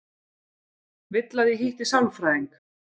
Vill að ég hitti sálfræðing.